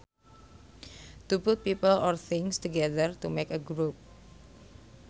To put people or things together to make a group